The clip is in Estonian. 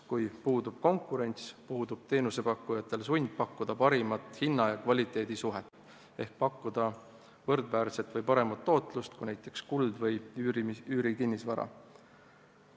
Kui puudub konkurents, puudub teenusepakkujatel sund pakkuda parimat hinna ja kvaliteedi suhet ehk pakkuda võrdväärset või paremat tootlust kui näiteks kuld või üürikinnisvara.